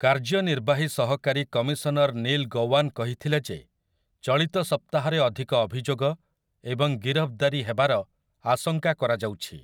କାର୍ଯ୍ୟନିର୍ବାହୀ ସହକାରୀ commissioner Neil Gowan କହିଥିଲେ ଯେ ଚଳିତ ସପ୍ତାହରେ ଅଧିକ ଅଭିଯୋଗ ଏବଂ ଗିରଫଦାରୀ ହେବାର ଆଶଙ୍କା କରାଯାଉଛି ।